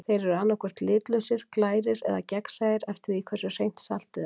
Þeir eru annað hvort litlausir, glærir eða gegnsæir eftir því hversu hreint saltið er.